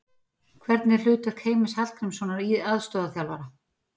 Hvernig er hlutverk Heimis Hallgrímssonar aðstoðarþjálfara?